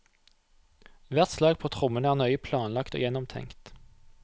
Hvert slag på trommene er nøye planlagt og gjennomtenkt.